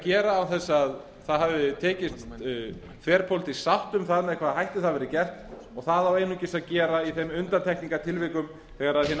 gera án þess að það hafi tekist þverpólitísk sátt um það með hvaða hætti það verði gert og það á einungis að gera í þeim undantekningartilvikum þegar hin